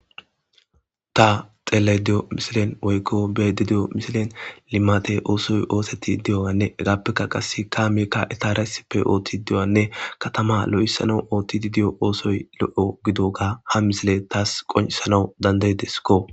Ta xellayide diyo missilen woyikko be'ayidde diyo missilen limmatte ossoy ossetidi diyogganne ezappeka qassi kammeyika ettara issippe oththidi diyogganne katama lo'ethan ottidi diyo ossayi lo'o gididdoga ha missileyi tasi qonccisanaw dandayideskko.